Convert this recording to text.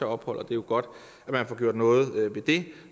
ophold og det er jo godt at få gjort noget ved det